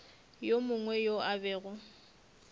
yo mongwe yo a bego